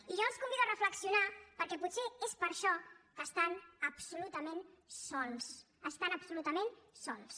i jo els convido a reflexionar perquè potser és per això que estan absolutament sols estan absolutament sols